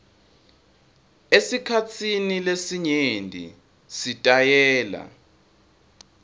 esikhatsini lesinyenti sitayela